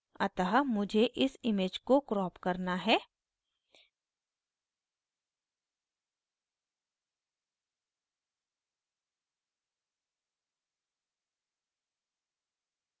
अतः मुझे इस image को crop करना है